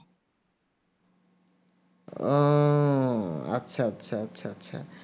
ও আচ্ছা আচ্ছা আচ্ছা